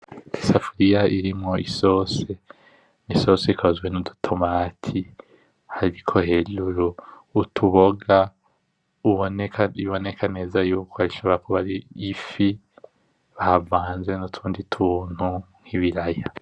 Isafuriya irimwo isosi, isosi ikozwe n’udu tomati hariko hejuru utuboga biboneka neza yuko ashobora kuba ari ifi bavanze n’utundi tuntu nk’ibiraya.